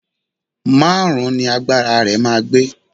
Márùn-ún ni agbára rẹ máa gbé.